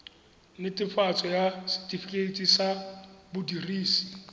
netefatso ya setifikeite sa modirisi